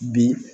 Bi